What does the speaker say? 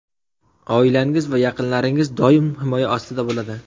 Oilangiz va yaqinlaringiz doim himoya ostida bo‘ladi.